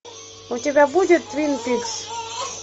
у тебя будет твин пикс